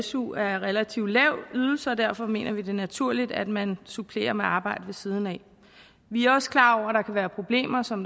su er en relativt lav ydelse og derfor mener vi det er naturligt at man supplerer med arbejde ved siden af vi er også klar over at der kan være problemer som